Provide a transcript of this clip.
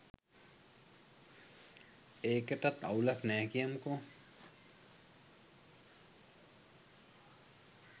ඒකටත් අවුලක් නෑ කියමුකො